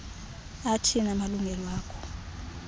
athini amalungelo akho